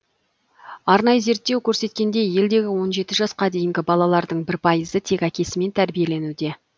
арнайы зерттеу көрсеткендей елдегі он жеті жасқа дейінгі балалардың бір пайызы тек әкесімен тәрбиеленуде